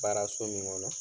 Baara so min kɔnɔ